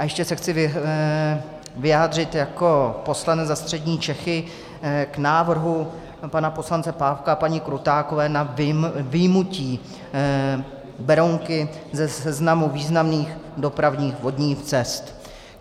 A ještě se chci vyjádřit jako poslanec za střední Čechy k návrhu pana poslance Pávka a paní Krutákové na vyjmutí Berounky ze seznamu významných dopravních vodních cest.